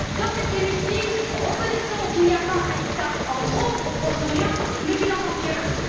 Dans cet hémicycle, reconnaissons qu'il n'y a pas un État en trop au Proche Orient mais qu'il en manque un!